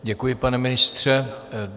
Děkuji, pane ministře.